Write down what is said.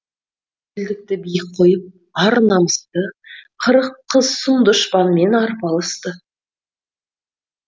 елдікті биік қойып ар намысты қырық қыз сұм дұшпанмен арпалысты